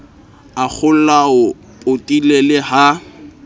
a kgolwao potile le ha